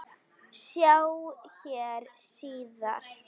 Sjá hér síðar.